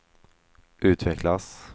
utvecklas